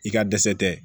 I ka dɛsɛ tɛ